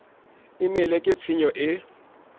e mele ke tshenyo e